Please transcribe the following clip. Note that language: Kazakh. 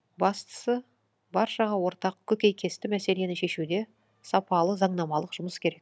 бастысы баршаға ортақ көкейкесті мәселені шешуде сапалы заңнамалық жұмыс керек